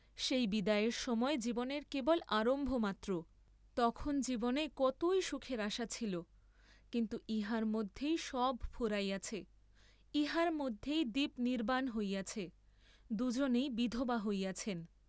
সেই বিদায়ের সময় জীবনের কেবল আরম্ভ মাত্র, তখন জীবনে কতই সুখের আশা ছিল, কিন্তু ইহার মধ্যেই সব ফুরাইয়াছে, ইহার মধ্যেই দীপ নির্ব্বাণ হইয়াছে, দুজনেই বিধবা হইয়াছেন।